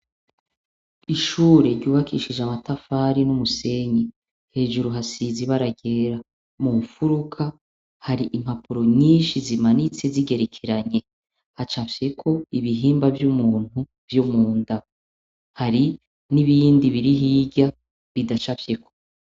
Ishure ryubakishije amatafari n'umusenyi, hejuru risize ibara ryera. Mu mfuruka, hari impapuro nyinshi zimanitse zigerekeranye. Hacafyeko ibihimba vy'umuntu vyo mu nda. Hari n'ibindi biri hirya, bidacafyeko.